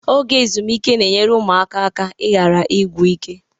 Oge ezumike na-enyere ụmụaka aka ịghara ịgwụ ike